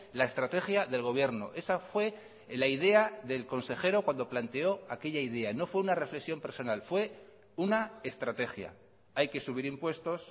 la estrategia del gobierno esa fue la idea del consejero cuando planteó aquella idea no fue una reflexión personal fue una estrategia hay que subir impuestos